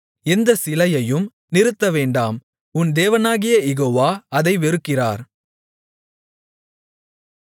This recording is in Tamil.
எந்த சிலையையும் நிறுத்தவேண்டாம் உன் தேவனாகிய யெகோவா அதை வெறுக்கிறார்